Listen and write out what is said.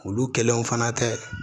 Olu kelenw fana tɛ